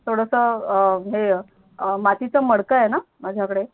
थोडस हे मातीच मडक आहेणा माझ्या कडे